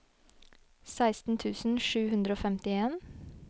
seksten tusen sju hundre og femtien